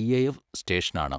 IAF സ്റ്റേഷനാണ്.